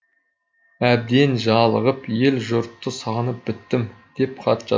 әбден жалығып ел жұртты сағынып біттім деп хат жазған